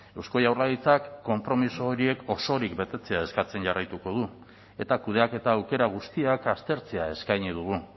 eusko jaurlaritzak konpromiso horiek osorik betetzea eskatzen jarraituko du eta kudeaketa aukera guztiak aztertzea eskaini dugu